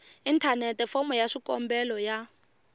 inthanete fomo ya xikombelo ya